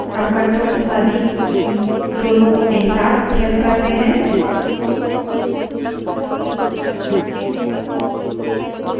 अब ctrl तथा d की दोनों को एक साथ press करें